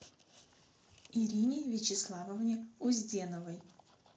ирине вячеславовне узденовой